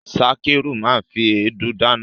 Sakiru ma fi èédú dáná.